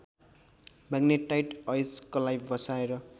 magnetite अयस्कलाई बसाएर